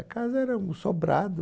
A casa era um sobrado.